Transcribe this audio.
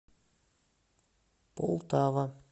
полтава